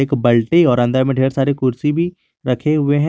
बल्टी और अंदर में ढेर सारे कुर्सी भी रखे हुए हैं।